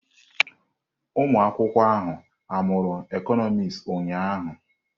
Ụmụ akwụkwọ ahụ amụru Ekonomis ụnyahụ?